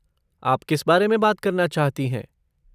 आप किस बारे में बात करना चाहती हैं?